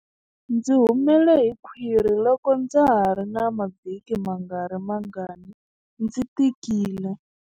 Ndzi humele hi khwiri loko ndza ha ri na mavhiki mangarimangani ndzi tikile.